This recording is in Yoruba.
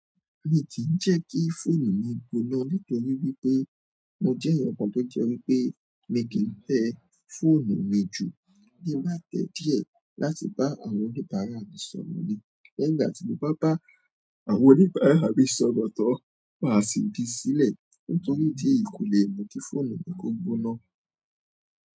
Mi ti jẹ́ kí fóònù mi gbóná nítorí wípé mo jẹ́ ẹ̀yàn kan tó jẹ́ wípé mi ki tẹ fóònù mi jù, tí n bá tẹ díẹ̀ láti bá àwọn oníbàárà mi sọ̀rọ̀ ni. Nígbà tí mo bá bá àwọn oníbàárà mi sọ̀rọ̀ tán, màá sì gbe sílẹ̀ nítorí idi èyí kò lè mu ki fóònù mi kò gbóná.